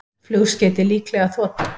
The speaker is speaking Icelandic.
Flugskeytið líklega þota